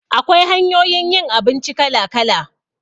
Akwai hanyoyin yin abinci kala-kala